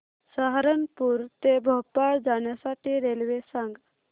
सहारनपुर ते भोपाळ जाण्यासाठी रेल्वे सांग